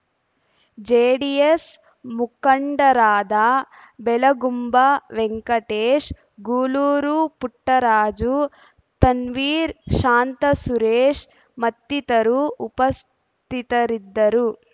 JDS ಮುಖಂಡರಾದ ಬೆಳಗುಂಬ ವೆಂಕಟೇಶ್ ಗೂಳೂರು ಪುಟ್ಟರಾಜು ತನ್ವೀರ್ ಶಾಂತಸುರೇಶ್ ಮತ್ತಿತರರು ಉಪಸ್ಥಿತರಿದ್ದರು